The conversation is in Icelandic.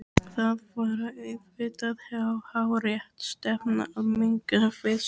Það var auðvitað hárrétt stefna að minnka við sig.